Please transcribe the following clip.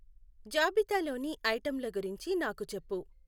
జాబితాలోని ఐటెమ్ల గురించి నాకు చెప్పు.